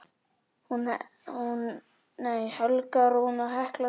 Helga Rún og Hekla Sif.